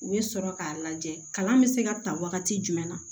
U bɛ sɔrɔ k'a lajɛ kalan bɛ se ka ta wagati jumɛn na